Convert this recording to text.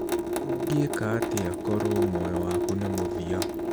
Ũngĩka atĩa korũo muoyo waku nĩ mũthia?